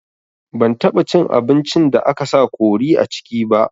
Ban taɓa cin abincin da aka sa kori a ciki ba